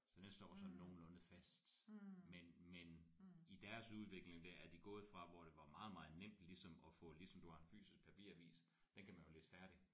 Så næste år så er det nogenlunde fast men men i deres udvikling der er de gået fra hvor det var meget meget nemt ligesom at få ligesom du har en fysisk papiravis den kan man jo læse færdig